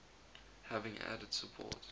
having added support